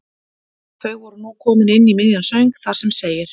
Þau voru nú komin inn í miðjan söng þar sem segir